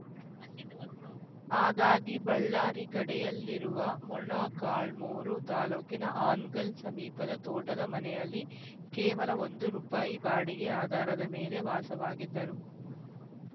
ಹಾಗಾಗಿ ಬಳ್ಳಾರಿ ಗಡೆಯಲ್ಲಿರುವ ಮೊಳಕಾಲ್ಮುರು ತಾಲೂಕಿನ ಹಾನಗಲ್‌ ಸಮೀಪದ ತೋಟದ ಮನೆಯಲ್ಲಿ ಕೇವಲ ಒಂದು ರುಪಾಯಿ ಬಾಡಿಗೆ ಆಧಾರದ ಮೇಲೆ ವಾಸವಾಗಿದ್ದರು